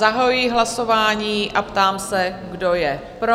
Zahajuji hlasování a ptám se, kdo je pro?